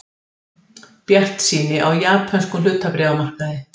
Bjartsýni á japönskum hlutabréfamarkaði